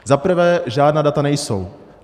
Zaprvé žádná data nejsou.